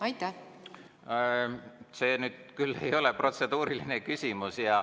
See ei ole nüüd küll protseduuriline küsimus.